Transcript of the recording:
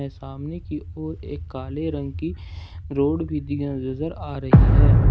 सामने की और एक काले रंग की रोड भी नजर आ रही है।